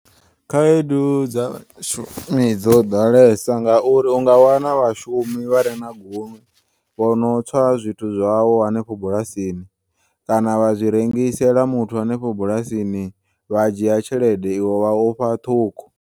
Khaedu dza vhashumi dzo ḓalesa ngauri unga wana vhashumi vhare na gunwe vhono tswa zwithu zwau hanefho bulasini kana vha zwirengisela muthu hanefho bulasini vha dzhiya tshelede iwe vha ufha ṱhukhu.